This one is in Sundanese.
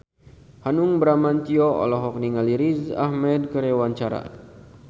Hanung Bramantyo olohok ningali Riz Ahmed keur diwawancara